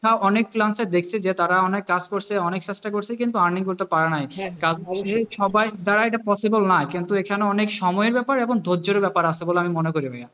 দেখা অনেক freelancer দেখেছে যে তারা অনেক কাজ করছে অনেক চেষ্টা করছে কিন্তু earning করতে পারে না সে সবার দ্বারা এটা possible না কিন্তু এখানে অনেক সময় ব্যাপার এবং ধৈর্যের ব্যাপার আছে বলে মনে করি ভাইয়া,